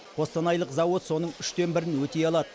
қостанайлық зауыт соның үштен бірін өтей алады